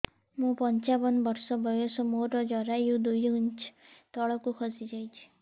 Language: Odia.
ମୁଁ ପଞ୍ଚାବନ ବର୍ଷ ବୟସ ମୋର ଜରାୟୁ ଦୁଇ ଇଞ୍ଚ ତଳକୁ ଖସି ଆସିଛି